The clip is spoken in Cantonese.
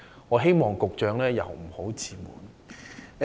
我希望局長不要自滿。